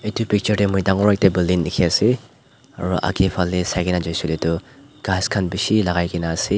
itu picture teh mui dangor ekta building dikhi ase aro agay phale saigena jaishey kuile tu ghas khan bishi lagaigena ase.